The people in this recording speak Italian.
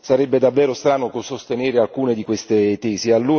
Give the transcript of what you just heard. Sarebbe davvero strano sostenere alcune di queste tesi.